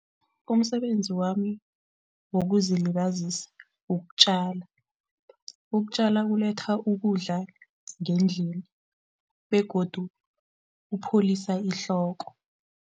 Umsebenzi wami wokuzilibazisa ukutjala. Ukutjala kuletha ukudla ngendlini begodu kupholisa ihloko.